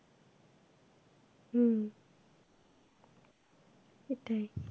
হম সেটাই